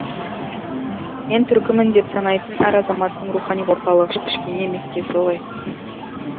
мен түркімін деп санайтын әр азаматтың рухани орталығы кішкене меккесі ғой